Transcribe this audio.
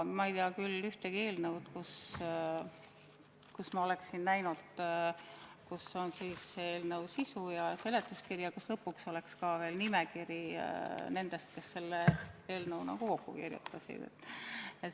Ma ei tea küll ühtegi eelnõu, mille puhul ma oleksin näinud, et on eelnõu sisu ja seletuskiri ja lõpuks veel nimekiri nendest, kes selle kokku kirjutasid.